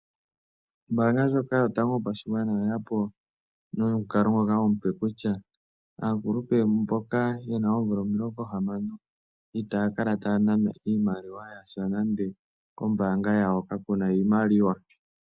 Ombaanga ndjoka yotango yopashigwana oye ya po nomukalo ngoka omupe kutya aakulupe mboka ye na oomvula omilongo hamano itaya kala ha ya nanwa iimaliwa yasha nande kombaanga yawo ka ku na iimaliwa.